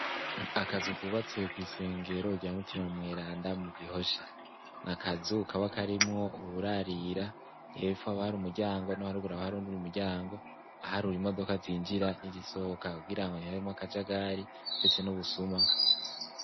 Akazu kwubatse kw'isengero rya Mutima Mweranda mu Gihosha. N'akazu kaba karimwo uburarira, hepfo haba hari umuryango no haruguru haba hari uwundi muryango. Ahari uw'imodoka zinjira n'izisohoka kugirango ntihabemwo akajagari ndetse n'ubusuma.